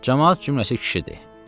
Camaat cümləsi kişidir.